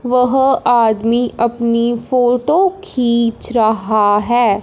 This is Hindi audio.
वह आदमी अपनी फोटो खींच रहा हैं।